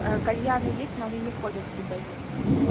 а кальяны есть но они не входят в депозит